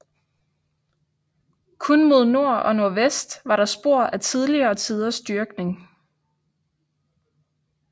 Kun mod nord og nordvest var der spor af tidligere tiders dyrkning